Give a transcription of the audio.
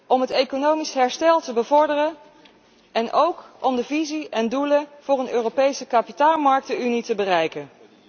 om het economisch herstel te bevorderen en ook om de visie en doelen voor een Europese kapitaalmarktenunie te verwezenlijken.